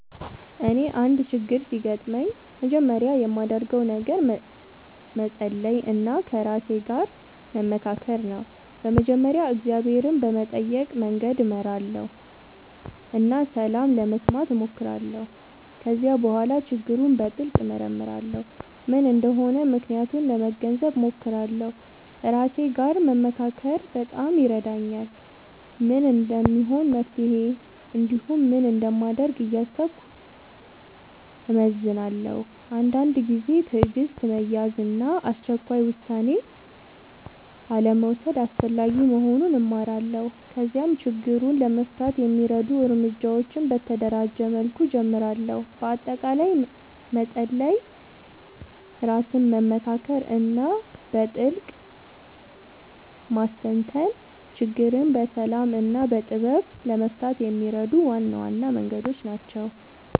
እኔ አንድ ችግር ሲያጋጥምኝ መጀመሪያ የማደርገው ነገር መጸሎት እና ከራሴ ጋር መመካከር ነው። በመጀመሪያ እግዚአብሔርን በመጠየቅ መንገድ እመራለሁ እና ሰላም ለመስማት እሞክራለሁ። ከዚያ በኋላ ችግሩን በጥልቅ እመርመራለሁ፤ ምን እንደሆነ ምክንያቱን ለመገንዘብ እሞክራለሁ። ከራሴ ጋር መመካከር በጣም ይረዳኛል፤ ምን እንደሚሆን መፍትሄ እንዲሁም ምን እንደማደርግ እያሰብኩ እመዝናለሁ። አንዳንድ ጊዜ ትዕግሥት መያዝ እና አስቸኳይ ውሳኔ አልመውሰድ አስፈላጊ መሆኑን እማራለሁ። ከዚያም ችግሩን ለመፍታት የሚረዱ እርምጃዎችን በተደራጀ መልኩ እጀምራለሁ። በአጠቃላይ መጸሎት፣ ራስን መመካከር እና በጥልቅ ማስተንተን ችግርን በሰላም እና በጥበብ ለመፍታት የሚረዱ ዋና ዋና መንገዶች ናቸው።